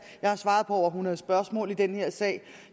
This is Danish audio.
jeg har svaret på over hundrede spørgsmål om den her sag